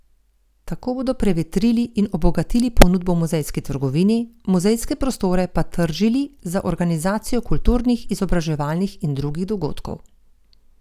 Tako bodo prevetrili in obogatili ponudbo v muzejski trgovini, muzejske prostore pa tržili za organizacijo kulturnih, izobraževalnih in drugih dogodkov.